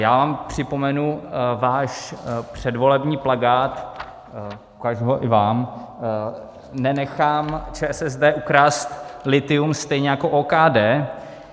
Já vám připomenu váš předvolební plakát, ukážu ho i vám - Nenechám ČSSD ukrást lithium stejně jako OKD.